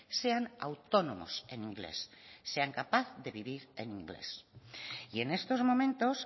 sean autónomos en inglés sean capaces de vivir en inglés y en estos momentos